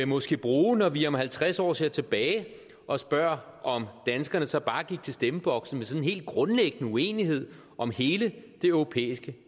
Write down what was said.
måske bruge når vi om halvtreds år ser tilbage og spørger om danskerne så bare gik til stemmeboksen med sådan helt grundlæggende uenighed om hele det europæiske